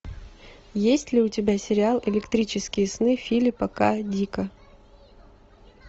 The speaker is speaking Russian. есть ли у тебя сериал электрические сны филипа к дика